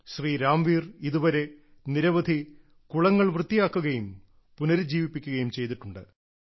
ശ്രീ രാംവീർ ഇതുവരെ നിരവധി കുളങ്ങൾ വൃത്തിയാക്കുകയും പുനരുജ്ജീവിപ്പിക്കുകയും ചെയ്തിട്ടുണ്ട്